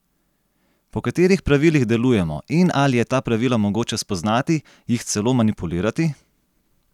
Po katerih pravilih delujemo in ali je ta pravila mogoče spoznati, jih celo manipulirati?